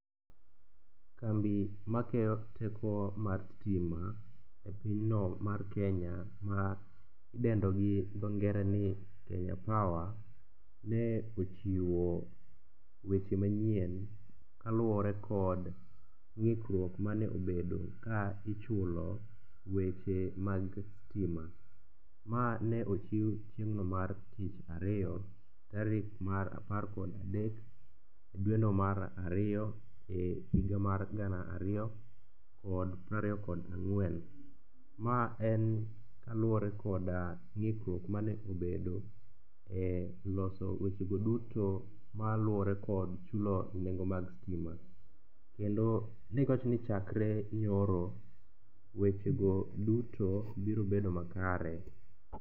Kambi makeyo teko mar stima e pinyno mar Kenya ma idendo gi dho ngere ni kenya power, ne ochiwo weche manyien kaluwore kod ng'ikruok mane obedo ka ichulo weche mag stima. Ma ne ochiw chieng'no mar tich ariyo tarik mar apar kod adek dweno mar ariyo e higa mar gana ariyo kod prariyo kod ang'wen. Ma en kaluwore koda ng'ikruok ma ne obedo e loso wechego duto maluwore kod chulo nengo mag stima. Kendo ne giwacho ni chakre nyoro wechego duto biro bedo makare.